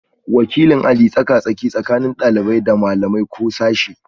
Wakilin aji tsaka-tsaki tsakanin ɗalibai da malamai ko sashe